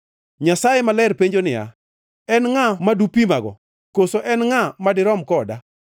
Nyasaye Maler penjo niya, “En ngʼa madupima-go? Koso en ngʼa madirom koda?”